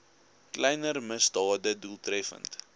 kleiner misdade doeltreffend